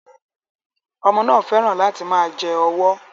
Ọmọ náà fẹ́ràn láti máa jẹ ọwọ́